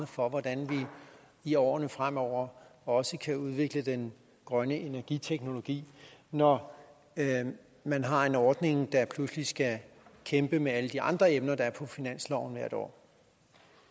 for hvordan vi i årene fremover også kan udvikle den grønne energiteknologi når man har en ordning der pludselig skal kæmpe med alle de andre emner der er på finansloven hvert år